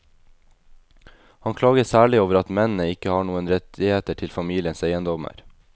Han klager særlig over at mennene ikke har noen rettigheter til familiens eiendommer.